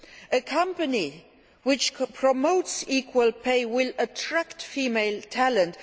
A company which promotes equal pay will attract female talent.